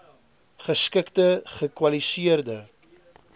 geskikte gekwali seerde